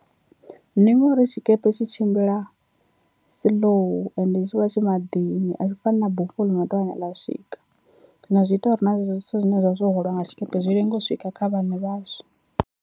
Ndi ngori tshikepe tshi tshimbila slow and tshi vha tshi maḓini a zwi fani na bufho ḽi no ṱavhanya ḽa swika, zwino zwi ita uri na zwezwo zwithu zwine zwavha zwo hwalwa nga tshikepe zwi lenge u swika kha vhaṋe vhazwo.